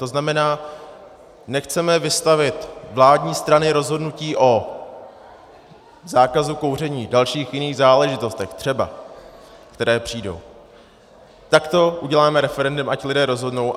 To znamená, nechceme vystavit vládní strany rozhodnutí o zákazu kouření, dalších jiných záležitostech třeba, které přijdou, tak to uděláme referendem, ať lidé rozhodnou.